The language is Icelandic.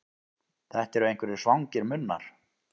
Þetta eru einhverjir svangir munnar.